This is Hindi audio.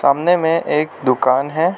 सामने मे एक दुकान है।